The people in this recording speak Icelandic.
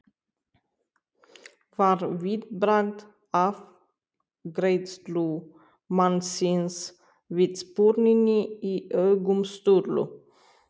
var viðbragð afgreiðslumannsins við spurninni í augum Sturlu.